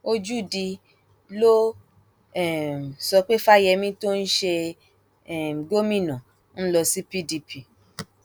ojúdi ló um sọ pé fáyemí tó ń ṣe um gómìnà ń lọ sí pdp